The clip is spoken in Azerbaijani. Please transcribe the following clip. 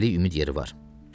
Hələlik ümid yeri var.